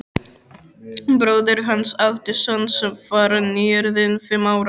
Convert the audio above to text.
Bróðir hans átti son sem var nýorðinn fimm ára.